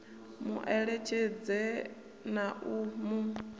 mu eletshedze na u mu